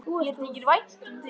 Mér þykir vænt um þig!